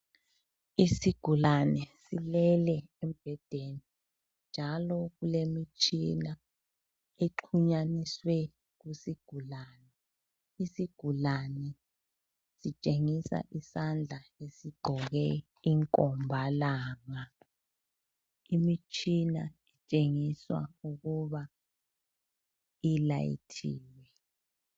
Isigulane silele embhedeni njalo kulemitshina exhunyaniswe kusigulane. Isigulane sitshengisa isandla esigqoke inkombalanga. Imitshina itshengisa ukuba ilayithile.